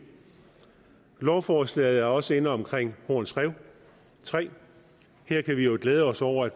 lovforslaget er også inde omkring horns rev tre og her kan vi jo glæde os over at